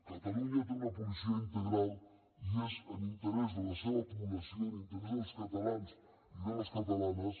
catalunya té una policia integral i és en interès de la seva població en interès dels catalans i de les catalanes